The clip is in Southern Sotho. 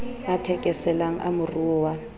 a thekeselang a moruo wa